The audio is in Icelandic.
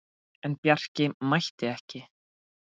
En Bjarki mætti ekki.